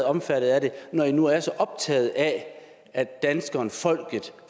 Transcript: omfattet af det når i nu er så optaget af at danskerne folket